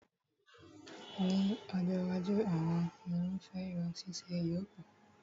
Ní ọjọ́ iwájú, àwọn irúfẹ́ irun ṣíṣe yóò pọ̀